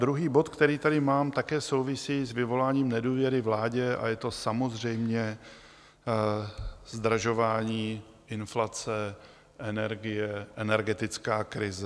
Druhý bod, který tady mám, také souvisí s vyvoláním nedůvěry vládě a je to samozřejmě zdražování, inflace, energie, energetická krize.